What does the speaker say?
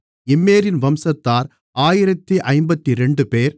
இம்மேரின் வம்சத்தார் 1052 பேர்